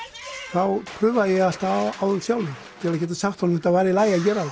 þá prufaði ég það alltaf áður sjálfur til að geta sagt honum að þetta væri í lagi að gera